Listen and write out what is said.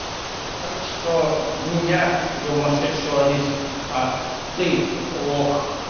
так что не я гомосексуалист а ты лох